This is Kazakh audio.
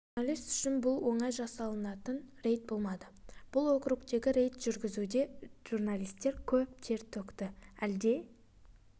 журналист үшін бұл оңай жасалтын рейд болмады бұл округтегі рейд жүргізуде журналист көп тер төкті әлде